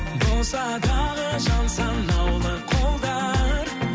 болса дағы жан санаулы қолдар